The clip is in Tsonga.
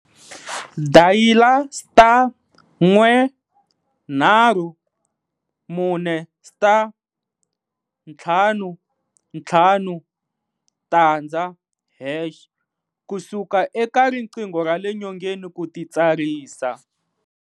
Dayila *134*550# ku suka eka riqingho ra le nyongeni ku titsarisa.